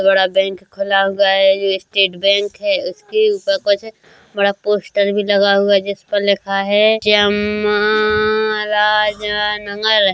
--बड़ा बैंक खुला हुआ है ये स्टेट बैंक है उसके ऊपर कुछ बड़ा पोस्टर भी लगा हुआ है जिस पर लिखा है चामराजा नगर।